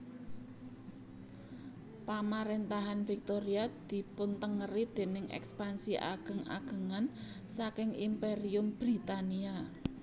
Pamaréntahan Victoria dipuntengeri déning èkspansi ageng agengan saking Imperium Britania